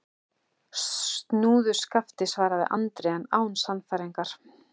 Snúðu skafti, svaraði Andri, en án sannfæringar.